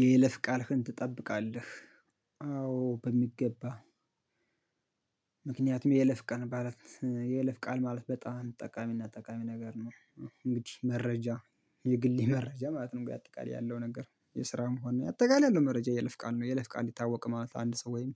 የይለፍ ቃልህን ትጠብቃለህ? አዎ በሚገባ። ምክንያቱም የይለፍ ቃል ማለት የይለፍ ቃል ማለት በጣም ጠቃሚና ጠቃሚ ነገር ነው። እንግዲህ መረጃ የግሌ መረጃ ማለት ነው ግን አጠቃላይ ያለው ነገር የስራም ሆነ ነው አጠቃላይ ያለው መረጃ የይለፍ ቃል ነው። የይለፍ ቃል ታወቅ ማለት አንድ ሰው ወይም